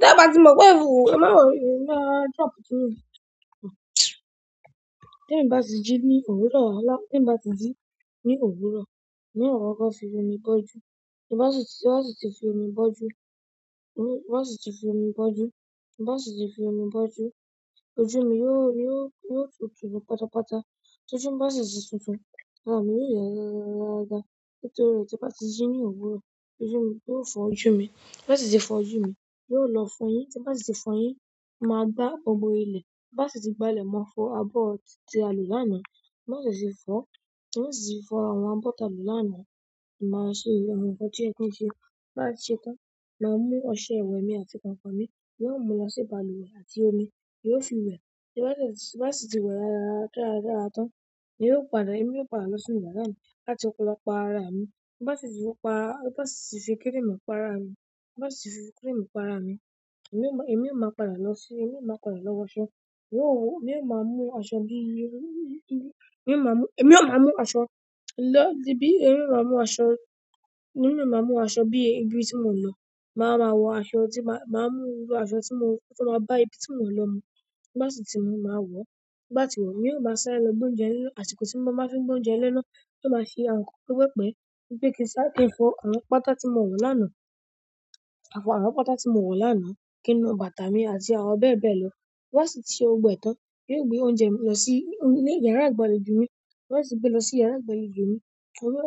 Tí a bá ti mọ̀ pé ìfúù, ẹ má wo ẹ̀, máa jump sínú òkú. Tí n bá ti jí ní òwúrọ̀, tí n bá ti jí ní òwúrọ̀, ma koko fi omi bọ́jú. Bí bá ti, bí bá si ti fi omi bọ́jú, bí bá siti fi omi bọ́jú, bí bá si ti fi omi bọ́jú, ojú mi yóò, yóò, yóò tútù pátápátá. Tí ojú mi bá sì ti tútù, ara mi yóò rẹ́ rárá, rárá. Nítorí tí bá ti jí ní òwúrọ̀, ojú mi yóò fọ́ ojú mi. Bá ti fi fọ́ ojú mi, yóò lọ fọ́yín. Tí bá ti fi fọ́yín, mo máa gbá gbogbo ilẹ̀. Bi mo ba si ti gbá ilẹ̀, mọ́ fọ abọ́ tí a lò lánàá. Bá sì ti fọ́, bá sì ti fọ́ àwọn abọ́ ta lò lánàá, màá ṣe àwọn nǹkan tí o yẹ́ kí n ṣe. Bi mo ti ṣe tán, màá mú ọṣẹ ìwẹ̀ mi àti kànkàn mi, màá mú lọ sí balùwẹ̀ àti omi, yóò fi wẹ̀. Tí bá sì ti wẹ̀ rárá, dáradára tán, n ó padà, èmi ó padà lọ sínú yàrá mi láti lọ pa ara mi. Bi n ba si ti pa, bi n ba si ti fi cream pa ara mi, bi n ba si ti fi cream pa ara mi, emi yo padà lo wo aṣọ èmi ó máa mú aṣọ bi, èmi ó máa mú, èmi ó máa mú aṣọ lọ́ di bi, èmi ó máa mú aṣọ, èmi ó máa mú aṣọ bí ibi tí mò ń lọ. Màá ma wọ aṣọ tí màá, màá mú iru aṣọ tí mó, tí màá bá ibi tí mò ń lọ mú. Bá sì ti mú, màá wọ̀. Bá ti wọ̀, èmi ó máa sáré lọ gbé oúnjẹ lẹ́ná, àsìkò tí mo máa fi ń gbé oúnjẹ lẹ́ná. Yóò máa se àwọn nkan pepepe bí pé kí n sá, kí n fọ àwọn pátá tí mo wọ̀ lánàá. Àwọn pátá tí mo wọ̀n lánàá kínú bàtà mi àti àwọn bẹ́ẹ̀ bẹ́ẹ̀ lọ. Bá sì ti ṣe gbogbo e tán, yóò gbé oúnjẹ lọ sí ilé yàrá ìgbàlejò mi. Bá sì gbé lọ sí yàrá ìgbàlejò mi,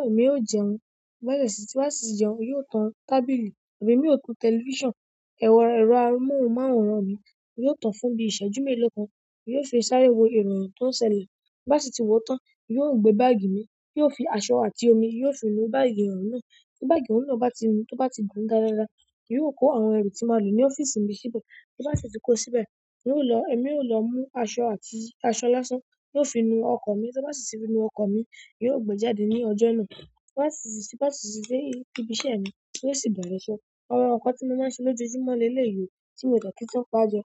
emi yóò jẹun. Bá sì ti, bá sì jẹun, yóò tan tábìlì, èmi ò tan tẹlifíṣàn. Ẹ̀rọ amóhùnmáwòrán mi, yóò tan fún bí i ìṣẹ́jú mélòó kan, yóò fi sáré wo ìròyìn tó ń ṣẹlẹ̀. Bá sì ti wọ̀ tán, yóò gbé báàgì mi, yóò fi aṣọ àti omi, yóò fi nu báàgì hùn náà. Tí báàgi náà bá ti nú, tí ó bá ti dùn dáadáa, yóò kó àwọn ẹrú tí màá lò ní ọ́fíìsì mi síbẹ̀. Tí bá sì ti kó síbẹ̀, n ó lọ, èmi ó lọ mú aṣọ àti aṣọ lásán, yóò fi nu ọkọ̀ mi. Tí ó bá sì ti fi nu ọkọ̀ mi, yóò gbe jáde ní ọjọ́ náà. Bá sì ti, bá sì ti dé ibi iṣẹ́ mi, yóò sì bere iṣẹ́ àwọn nǹkan tí mo máa ń ṣe lójoojúmọ́ lélèyi oo, tí mo dà kí tun paje.